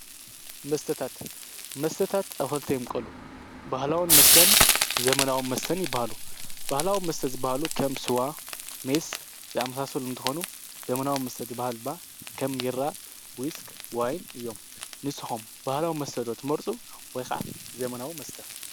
መስተታት -መስተታት ኣብ ክልተ ይምቀሉ። ባህላዊ መስተን ዘመናዊ መስተን ይበሃሉ። ባህላዊ መስተ ዝበሃሉ ከም ስዋ ፣ሜስ ዝኣመሳሰሉ እንትኮኑ ዘመናዊ መስተ ዝብሃሉ ድማ ከም ቢራ ፣ዊስክ ፣ዋይይ እዮም። ንስኩም ባህላዊ መስተ ዶ ትመርፁ ወይ ከዓ ዘመናዊ መስተ?